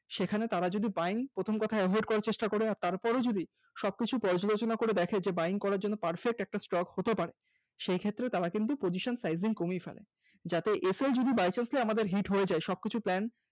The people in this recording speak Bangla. সেখানে তারা যদি Buying প্রথম কথা Avoid করার চেষ্টা করে তারপরও যদি সবকিছু পর্যালোচনা করে দেখে Buying করার জন্য Perfect একটা stock কোথাও হতে পারে সে ক্ষেত্রে তারা কিন্তু Position sizing কমিয়ে ফেলে যাতে এসে যদি By chance sl hit হয়ে যায় সবকিছু Plan